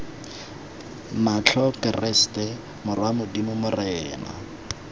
matlho keresete morwa modimo morena